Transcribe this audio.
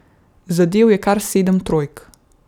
Zadel je kar sedem trojk.